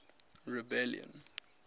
rebellion